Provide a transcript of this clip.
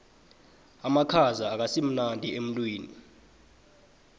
amakhaza akasimnandi emtwini